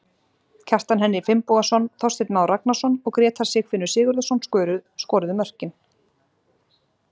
Kjartan Henry Finnbogason, Þorsteinn Már Ragnarsson og Grétar Sigfinnur Sigurðarson skoruðu mörkin.